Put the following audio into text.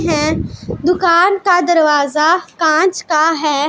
ये दुकान का दरवाजा कांच का है।